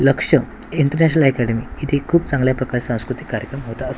लक्ष्य international academy इथे खूप चांगल्या प्रकारचे सांस्कृतिक कार्यक्रम होत असं--